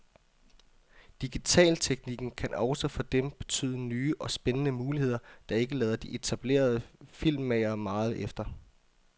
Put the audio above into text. Digitalteknikken kan også for dem betyde nye og spændende muligheder, der ikke lader de etablerede filmmagere meget efter.